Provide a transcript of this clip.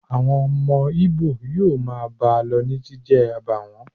Àwọn ọmọ Ìbò yóò máa bá a lọ ní jíjẹ àbààwó